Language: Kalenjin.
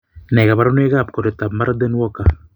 Nee kabarunoikab koroitoab Marden Walker?